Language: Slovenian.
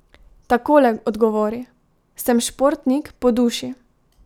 Takole odgovori: 'Sem športnik po duši.